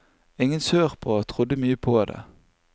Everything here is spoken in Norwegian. Ingen sørpå trodde mye på det.